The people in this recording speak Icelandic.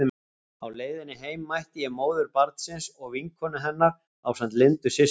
Á leiðinni heim mætti ég móður barnsins og vinkonu hennar ásamt Lindu systur.